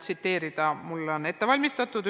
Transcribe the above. See on mul ette valmistatud.